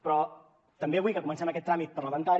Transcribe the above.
però també vull que comencem aquest tràmit parlamentari